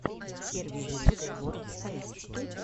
первый выпуск ворфэйс